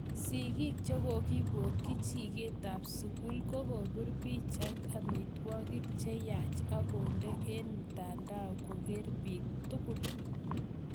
Sigik chekokipoyik jiket ap sukul kokopir pichait amitwangik chenyaach akondee en mtandao koker pik tigul